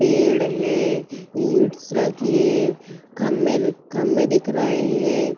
पेड़ हैं। ईटस रखी हैं। खंभे खंभे दिख रहे हैं।